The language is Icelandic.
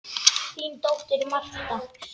Þín dóttir, Marta.